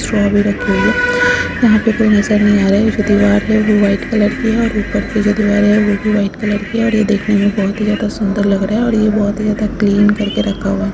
Straw भी रखी हुई है। यहाँ पे कोई नजर नहीं आ रहा है। ये जो दीवार है वो वाइट कलर की है और ऊपर की जो दीवार है वो भी वाइट कलर की है और यह देखने में बहुत ही ज्यादा सुन्दर लग रहा है और यह बहुत ही ज्यादा क्लीन करके रखा हुआ है।